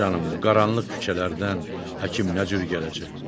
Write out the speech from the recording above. Canım bu qaranlıq küçələrdən həkim nə cür gələcək?